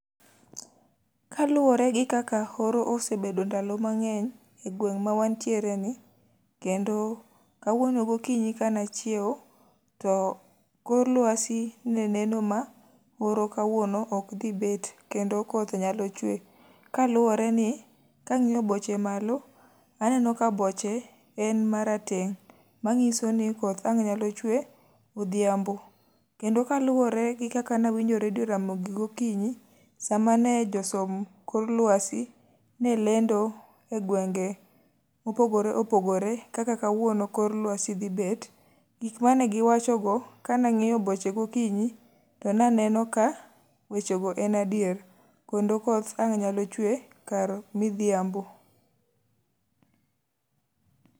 Kaluwore gi kaka oro osebedo e ndalo mangény e gweng' ma wantiere ni, kendo kawuono gokinyi ka ne achiewo, to kor lwasi ne neno ma oro kawuono ok dhi bet, kendo koth nyalo chwe. Kaluwore ni kangíyo boche malo to aneno ka boche en marateng', manyiso ni koth ang' nyalo chwe odhiambo. Kendo kaluwore gi kaka ne awinjo redio Ramogi gokinyi, sa mane jo som kor lwasi ne lendo e gwenge mopogore opogore kaka kawuon kor lwasi dhi bet, gik mane giwacho go, ka ne angíyo boche gokinyi to naneno ka weche go en adier. Kendo koth ang' nyalo chwe kar midhiambo.